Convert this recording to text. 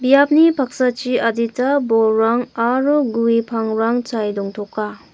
biapni paksachi adita bolrang aro gue pangrang chae dongtoka.